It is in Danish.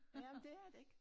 Ja men det er det ik